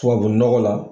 Tubabu nɔgɔ la